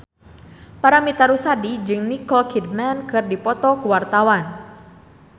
Paramitha Rusady jeung Nicole Kidman keur dipoto ku wartawan